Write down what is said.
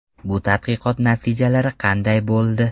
Bu tadqiqot natijalari qanday bo‘ldi?